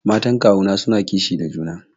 Matan kawuna suna kishi da junan su.